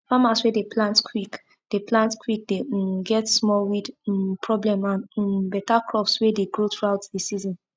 farmers way dey plant quick dey plant quick dey um get small weed um problem and um beta crops way dey grow throughout the season